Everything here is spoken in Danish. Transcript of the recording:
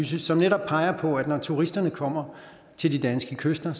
som netop peger på at når turisterne kommer til de danske kyster